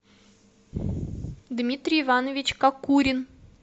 дмитрий иванович кокурин